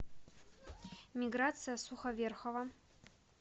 миграция суховерхова